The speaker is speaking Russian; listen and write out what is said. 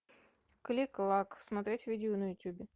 кликклак смотреть видео на ютубе